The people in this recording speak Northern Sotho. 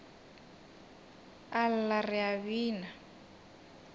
a lla re a bina